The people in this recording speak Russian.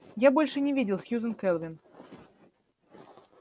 я больше не видел сьюзен кэлвин